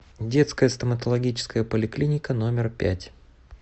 детская стоматологическая поликлиника номер пять